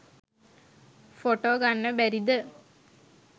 Photo ගන්න බැරිද?